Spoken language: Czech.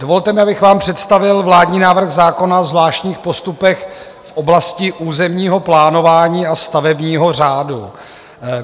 Dovolte mi, abych vám představil vládní návrh zákona o zvláštních postupech v oblasti územního plánování a stavebního řádu.